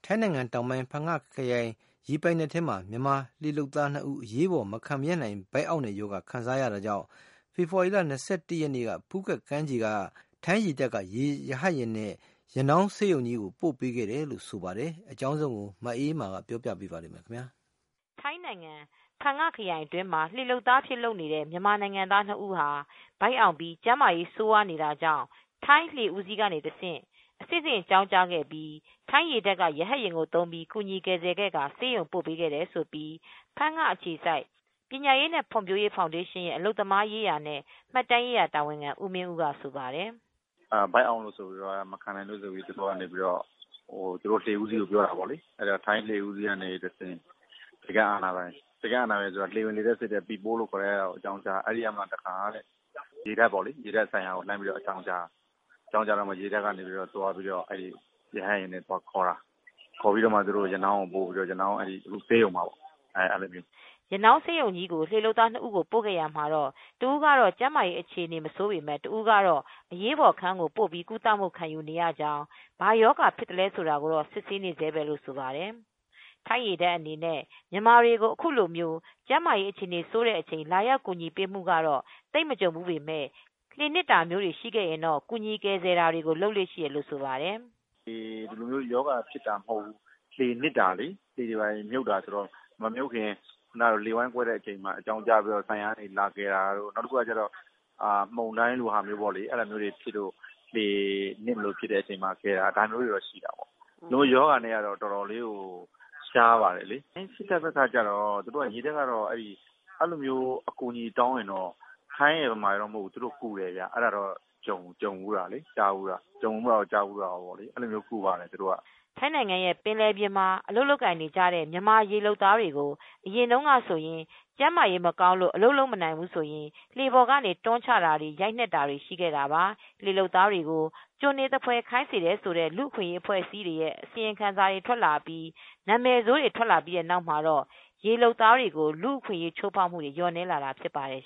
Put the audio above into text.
ိုင်းနိုင်ငံ တောင်ပိုင်း ဖန်င ခရိုင် ရေပိုင်နက်ထဲမှာ မြန်မာလှေလုပ်သား၂ ဦး အရေးပေါ် မခံမရပ်နိုင်တဲ့ ဗိုက်အောင့်တဲ့ရောဂါ ခံစားရတာကြောင့် ဖေဖေါ်ဝါရီလ ၂၁ ရက် နေ့က ဖူးခက်ကမ်းခြေက ထိုင်းရေတပ်က ရဟတ်ယာဉ်နဲ့ ရနောင်းဆေးရုံကြီးကို အရေးပေါ် ပို့ပေးခဲ့တယ်လို့ ဆိုပါတယ်။ ထိုင်းအခြေစိုက် ဗွီအိုအေ သတင်းထောက် မအေးအေးမာက သတင်းပေးပို့ထားပါတယ်။ ထိုင်းနိုင်ငံ ဖန်းင ခရိုင်အတွင်းမှာ လှေလုပ်သား အဖြစ် လုပ်နေတဲ့ မြန်မာနိုင်ငံသား ၂ ဦးဟာ ဗိုက်အောင့်ပြီး ကျန်းမာရေး ဆိုးဝါးနေတာကြောင့် ထိုင်းလှေဦးစီးကနေ အဆင့်ဆင့် အကြောင်းကြားတာကြောင့်ထိုင်းရေတပ်က ရဟတ်ယာဉ်သုံးပြီး ကူညီကယ်ဆယ်ပြီး ဆေးရုံပို့ပေးခဲ့ရတယ်လို့ ဖန်ငအခြေစိုက် ပညာရေးနဲ့ ဖွံဖြိုးရေး ဖောင်ဒေရှင်းရဲ့ အလုပ်သမားရေးနဲ့ မှတ်တမ်းရေးရာ တာဝန်ခံ ဦးမင်းဦးက ဆိုပါတယ်။ “ဗိုက်အောင့်လို့ ဆိုပြီး မခံနိုင်လို့ ဆိုပြီး လှေဦးစီးကို ပြောတာပေါ့။ ထိုင်းလှေဦးစီးက ဆိပ်ကမ်း အာဏာပိုင်တွေ လှေဝင်လှေထွက်စစ်တဲ့ သူတွေကို အကြောင်းကြားတယ်။ အဲဒီကနေ ရေတပ်အာဏာပိုင်တွေကို အကြောင်းကြားတယ်။ အဲဒီ ကနေတဆင့် ရေတပ် အာဏာပိုင်တွေက လာခေါ်ပြီး ရနောင်းဆေးရုံကြီးကို ပို့ပေးတာပေါ့။ အခုတော့ ဆေးရုံမှာ။” ရနောင်းဆေးရုံကြီးကို လှေလုပ်သား ၂ ဦးကို ပို့ခဲ့ရာမှာ တဦးကတော့ ကျန်းမာရေး အခြေအနေ မဆိုးပေမဲ့ တဦးကတော့ အရေးပေါ် အခန်းကို ပို့ပြီး ကုသမှု ခံယူနေရကြောင်း၊ ဘာရောဂါ ဖြစ်သလဲ ဆိုတာကိုတော့ စစ်ဆေးနေဆဲပဲလို့ ဆိုပါတယ်။ ထိုင်းရေတပ် အနေနဲ့ မြန်မာတွေကို အခုလို ကျန်းမာရေး အခြေအနေ ဆိုးတဲ့အချိန် လာရောက် ကူညီပေးမူတွေ ကတော့ သိပ်မကြုံဖူး ပေမယ့် လှေနစ်တာတွေ မျိုးကို ကယ်ဆယ်တာတွေတော့ လုပ်လေ့ရှိတယ်လို့ဆိုပါတယ်။ “ ဒီလိုမျိုး ရောဂါဖြစ်တာ မဟုတ်ဘူး။ လှေနစ်တာတို့မမြုပ်ခင် လှေဝမ်းကွဲတဲ့ အချိန် အကြောင်းကြားလို့ လာကယ်တာမျိုး၊ မုန်တိုင်းလိုမျိုး ရှိလို့ လှေနစ်မလို ဖြစ်လို့ လာကယ်တာမျိုးတော့ ရှိဘူးတယ်။ ဒီလို ရောဂါနဲ့ကတော့ အတော်ရှားတယ်။ ထိုင်းစစ်တပ်ဘက်က အဲဒီလိုမျိုး အကူအညီတောင်းမယ်ဆိုရင်တော့ မြန်မာရယ်၊ ထိုင်းရယ် မဟုတ်ဘူး။ ကယ်ပေးတာတွေတော့ လုပ်ကြတယ်။ ကြုံဖူးတာကော ကြားဖူးတာကောပေါ့။” ထိုင်းနိုင်ငံရဲ့ ပင်လယ်ပြင်မှာ အလုပ်လုပ်နေကြတဲ့ မြန်မာ ရေလုပ်သားတွေကို အရင်တုန်းက ဆိုရင် ကျန်းမာရေး မကောင်းလို့ အလုပ်မလုပ်နိုင်ဘူးဆိုရင် လှေပေါ်ကနေ တွန်းချတာတွေ ရိုက်နှက်တာတွေ ရှိခဲ့တာပါ။ လှေလုပ်သားတွေကို ကျွန်တွေသဖွယ် ခိုင်းစေတယ်ဆိုတဲ့ လူ့အခွင်အရေး အဖွဲတွေရဲ့ အစီရင်ခံစာတွေ ထွက်အပြီး နာမည်ဆိုးတွေ ထွက်လာပြီး တဲ့နောက်မှာတော့ ရေလုပ်သားတွေကို လူ့အခွင့်အရေး ချိုးဖောက်တာတွေ လျော့နည်းလာတာ ဖြစ်ပါတယ်